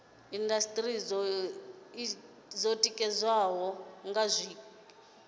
indasiteri dzo ditikaho nga zwiko